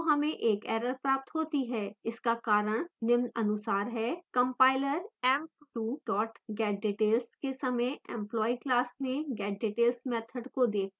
इसका कारण निम्नानुसार है: